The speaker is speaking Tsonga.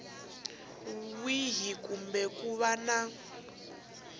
wini kumbe ku va na